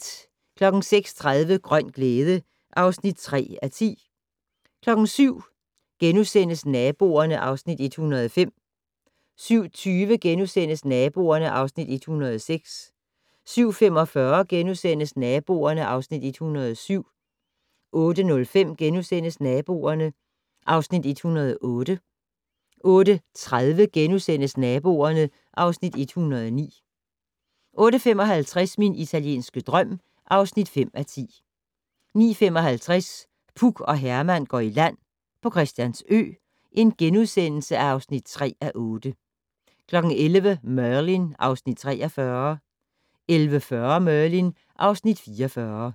06:30: Grøn glæde (3:10) 07:00: Naboerne (Afs. 105)* 07:20: Naboerne (Afs. 106)* 07:45: Naboerne (Afs. 107)* 08:05: Naboerne (Afs. 108)* 08:30: Naboerne (Afs. 109)* 08:55: Min italienske drøm (5:10) 09:55: Puk og Herman går i land - Christiansø (3:8)* 11:00: Merlin (Afs. 43) 11:40: Merlin (Afs. 44)